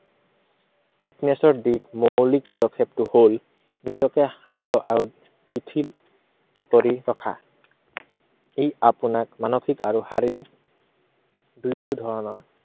fitness ৰ দীৰ্ঘ উম মৌলিক পদক্ষেপটো হল, নিজকে শান্ত আৰু শিথিল কৰি ৰখা। ই আপোনাক মানসিক আৰু শাৰীৰিক দু~দুয়ো ধৰণৰ